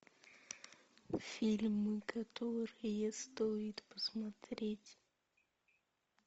фильмы которые стоит посмотреть